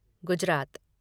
Gujarat